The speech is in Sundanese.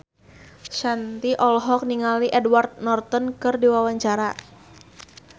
Shanti olohok ningali Edward Norton keur diwawancara